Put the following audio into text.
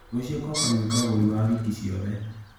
Rũcio ngoka gwĩka ũgũri wa wiki ciothe.